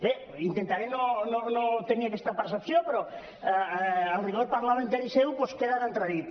bé intentaré no tenir aquesta percepció però el rigor parlamentari seu doncs queda en entredit